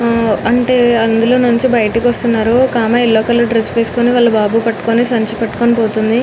హ్హా అంటే అదులో నుచే బయటికి వస్తునారు వక ఆమె అల్లౌ కలర్ డ్రెస్ వేసోకొని వల బాబు పట్టుకొని వేలుతునది లోపలి